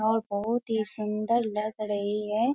और बहुत ही सुंदर लग रही है।